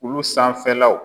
Olu sanfɛ law